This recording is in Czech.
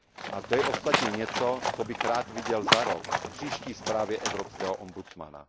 A to je ostatně něco, co bych rád viděl za rok, v příští zprávě evropského ombudsmana.